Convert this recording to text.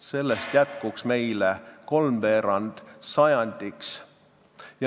Sellest jätkuks meile kolmveerand sajandiks.